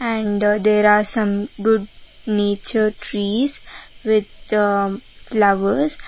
and there are some good nature trees with flowers.